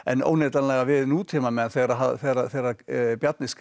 óneitanlega við nútímamenn þegar Bjarni